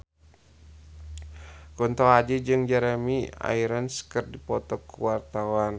Kunto Aji jeung Jeremy Irons keur dipoto ku wartawan